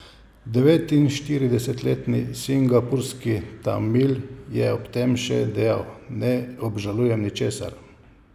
Devetinštiridesetletni singapurski Tamil je ob tem še dejal: 'Ne obžalujem ničesar.